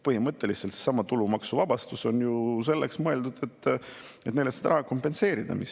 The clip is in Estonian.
Põhimõtteliselt on ju seesama tulumaksuvabastus selleks mõeldud, et neile seda raha kompenseerida.